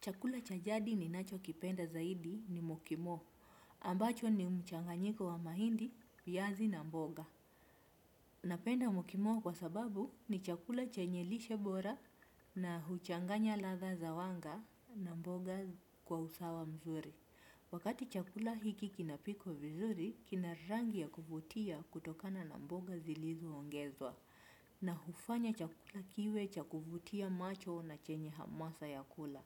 Chakula cha jadi ni nacho kipenda zaidi ni mokimo, ambacho ni mchanganyiko wa mahindi, viazi na mboga. Napenda mokimo kwa sababu ni chakula chenye lishebora na huchanganya latha za wanga na mboga kwa usawa mzuri. Wakati chakula hiki kinapikwa vizuri, kina rangi ya kuvutia kutokana na mboga zilizo ongezwa, na hufanya chakula kiwe cha kuvutia macho na chenye hamasa ya kula.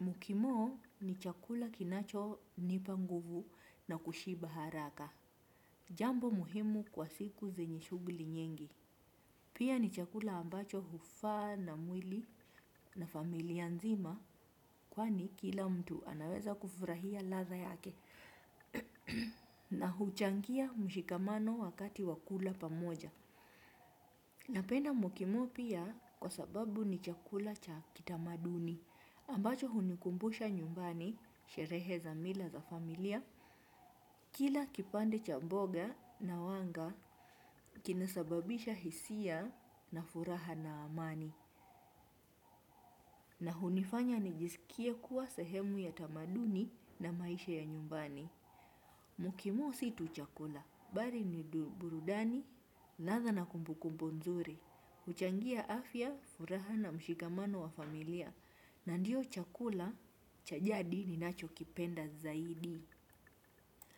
Mukimo ni chakula kinacho nipa nguvu na kushiba haraka. Jambo muhimu kwa siku zinye shugli nyingi pia ni chakula ambacho hufaa na mwili na familia nzima kwani kila mtu anaweza kufurahia latha yake na huchangia mushikamano wakati wa kula pamoja. Napenda mokimo pia kwa sababu ni chakula cha kitamaduni ambacho hunikumbusha nyumbani, sherehe za mila za familia, kila kipande cha mboga na wanga kinasababisha hisia na furaha na amani. Na hunifanya nijisikie kuwa sehemu ya tamaduni na maisha ya nyumbani. Mukimo si tuchakula, bari ni burudani, latha na kumbu kumbu nzuri. Huchangia afya, furaha na mshikamano wa familia na ndio chakula cha jadi ni nacho kipenda zaidi.